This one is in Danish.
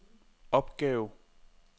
opgave